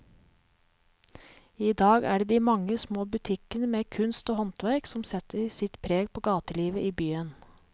I dag er det de mange små butikkene med kunst og håndverk som setter sitt preg på gatelivet i byen.